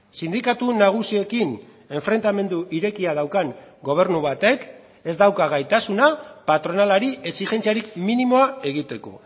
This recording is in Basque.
sindikatu nagusiekin enfrentamendu irekia daukan gobernu batek ez dauka gaitasuna patronalari exijentziarik minimoa egiteko